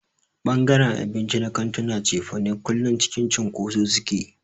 Ɓangaren abinci na kantunan cefane kullum cikin cunkoso suke.